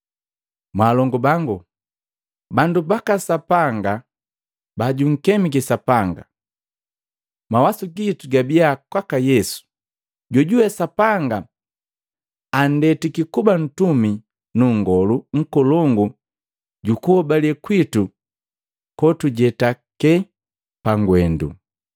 Mwalongu bangu, bandu baka Sapanga ba junkemiki Sapanga, mawasu gitu gabia kwaka Yesu jojuwe Sapanga anndetiki kuba ntumi nu Nngolu Nkolongu jukuhobale kwitu kotujetake pangwendu.